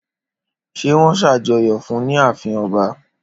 Ṣé wón ṣàjọyọ̀ fún ní ààfin ọba?